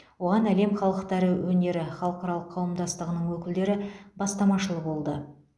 оған әлем халықтары өнері халықаралық қауымдастығының өкілдері бастамашыл болды